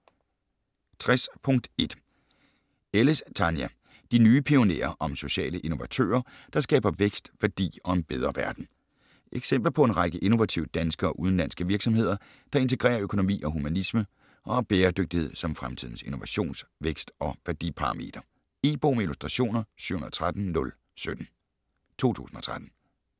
60.1 Ellis, Tania: De nye pionerer: om sociale innovatører, der skaber vækst, værdi og en bedre verden Eksempler på en række innovative danske og udenlandske virksomheder, der integrerer økonomi og humanisme og har bæredygtighed som fremtidens innovations-, vækst- og værdiparameter. E-bog med illustrationer 713017 2013.